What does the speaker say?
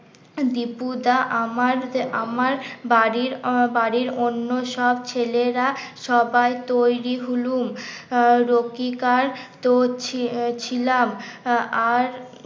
দিপুদা আমার আমার বাড়ির বাড়ির অন্য সব ছেলেরা সবাই তৈরি হলুম আহ তো ছি ছিলাম আর